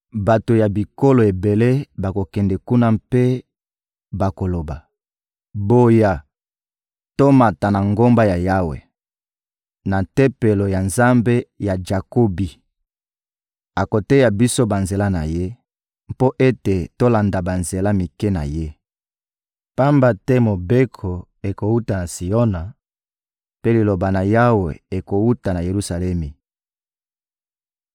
Bato ya bikolo ebele bakokende kuna mpe bakoloba: «Boya, tomata na ngomba ya Yawe, na Tempelo ya Nzambe ya Jakobi. Akoteya biso banzela na Ye mpo ete tolanda banzela mike na Ye.» Pamba te Mobeko ekowuta na Siona, mpe Liloba na Yawe ekowuta na Yelusalemi.